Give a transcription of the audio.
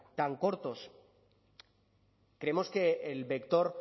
tan cortos creemos que el vector